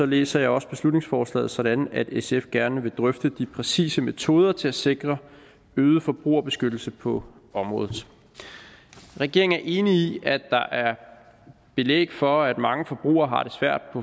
læser jeg også beslutningsforslaget sådan at sf gerne vil drøfte de præcise metoder til at sikre øget forbrugerbeskyttelse på området regeringen er enig i at der er belæg for at mange forbrugere har det svært